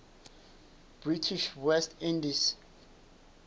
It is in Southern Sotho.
british west indies